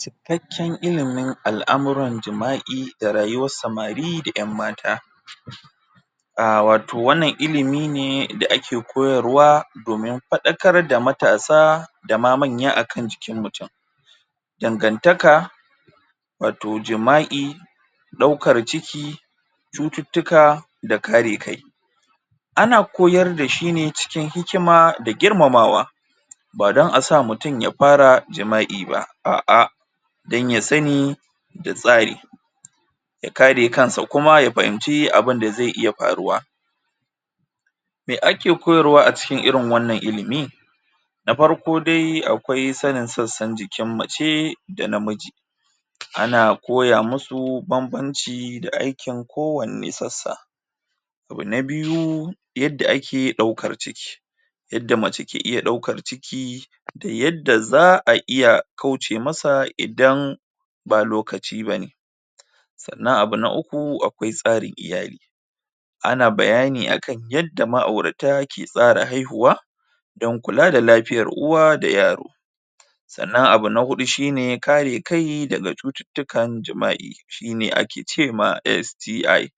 Cikakken ilimin al'amuran jima'i da rayuwar samari da ƴan mata a wato wannan ilimi ne da ake koyarwa domin faɗakar da matasa da ma manya a kan jikin mutum dangantaka wato jima'i ɗaukar ciki cututtuka da kare kai ana koyar da shi ne cikin hikima da girmamawa ba don a sa mutum ya fara jima'i ba a'a don ya sani da tsari ya kare kansa kuma ya fahimci abin da zai iya faruwa mai ake koyarwa a cikin wannan ilimi na farko dai akwai sanin sassan jikin mace da namiji ana koya musu banbanci da aikin kowane sassa abu na biyu yadda ake ɗaukar ciki yadda mace ke iya ɗaukar ciki da yadda za a iya kauce masa idan ba lokaci bane sannan abu na uku akwai tsarin iyali ana bayani akan yadda ma'aurata ke tsara haihuwa don kula da lafiyar uwa da yaro sannan abu na huɗu shine kare kai daga cututtukan jima'i shine ake ce ma STI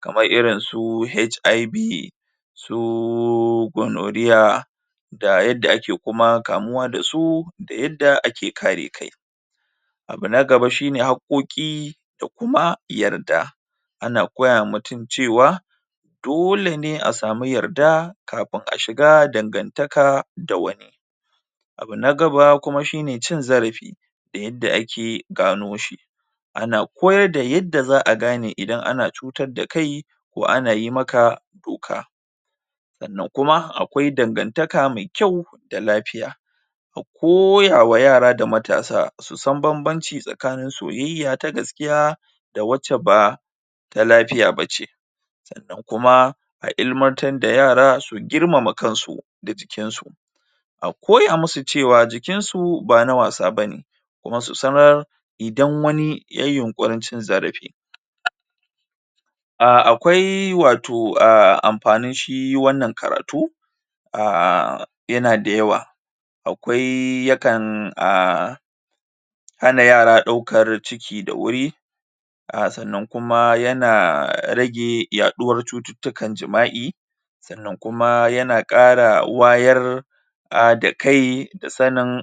kamar irin su HIV suuuu gonorrhea da yadda ake kuma kamuwa da su da yadda ake kare kai abu na gaba shine haƙƙoƙi da kuma yarda ana koya ma mutum cewa dole ne a samu yarda kafin a shiga dangantaka da wani abu na gaba kuma shine cin zarafi da yadda ake gano shi ana koyar da yadda za a gane idan ana cutar da kai ko ana yi maka doka sannan kuma akwai dangantaka mai kyau da lafiya mu koya ma yara da matasa su san banbanci tsakanin soyayya ta gaskiya da wacce ba ta lafiya ba ce sannan kuma a ilimantar da yara su girmama kansu da jikin su a koya musu cewa jikin su ba na wasa bane kuma su sanar idan wani yayi yunƙurin cin zarafi a akwai wato a amfanin shi wannan karatu a yana da yawa akwai yakan um hana yara ɗaukan ciki da wuri a sannan kuma yana rage yaɗuwar cututtukan jima'i sannan kuma yana ƙara wayar a da kai da sanin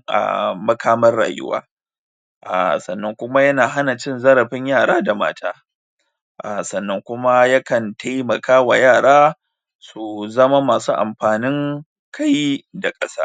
makaman rayuwa a sannan kuma yana hana cin zarafin yara da mata a sannan kuma ya kan taimaka wa yara su zama masu amfanin kai da ƙasa.